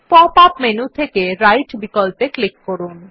pop up menu থেকে right বিকল্পে click করুন